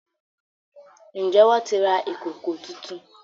Njé wón tí rà Ìkòkò títún?